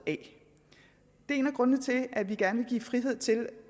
det er en af grundene til at vi gerne vil give frihed til